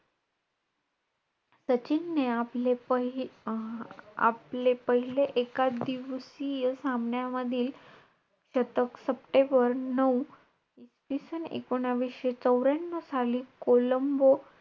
सचिनने आपले प अं आपले पहिले एकादिवसीय सामन्यामधील शतक, सप्टेंबर नऊ इसवीसन एकोणावीसशे चौर्यांनऊ साली कोलंबो,